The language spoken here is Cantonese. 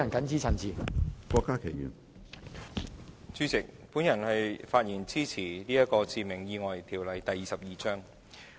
主席，我發言支持根據《致命意外條例》動議的決議案。